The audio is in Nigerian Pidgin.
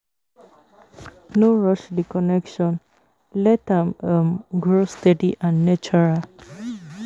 No rush the connection, let am um grow steady and natural